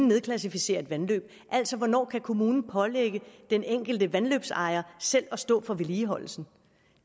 nedklassificere et vandløb altså hvornår kommunen kan pålægge den enkelte vandløbsejer selv at stå for vedligeholdelsen